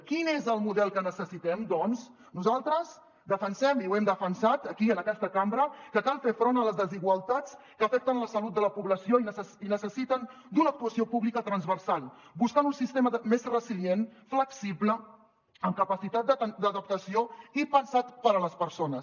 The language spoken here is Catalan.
quin és el model que necessitem doncs nosaltres defensem i ho hem defensat aquí en aquesta cambra que cal fer front a les desigualtats que afecten la salut de la població i necessiten una actuació pública transversal buscant un sistema més resilient flexible amb capacitat d’adaptació i pensat per a les persones